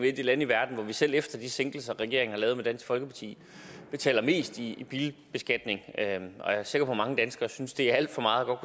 et af de lande i verden hvor vi selv efter de sænkelser regeringen har lavet sammen med dansk folkeparti betaler mest i bilbeskatning og jeg er sikker på at mange danskere synes det er alt for meget og